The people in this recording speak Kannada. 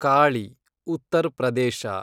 ಕಾಳಿ , ಉತ್ತರ್ ಪ್ರದೇಶ